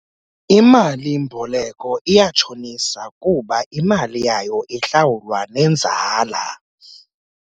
Imali-mboleko iyatshonisa kuba imali yayo ihlawulwa nenzala.